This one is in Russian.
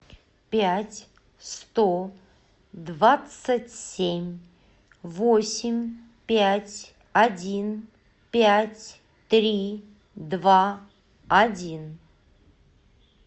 пять сто двадцать семь восемь пять один пять три два один